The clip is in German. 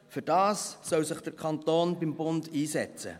Dafür soll sich der Kanton beim Bund einsetzen.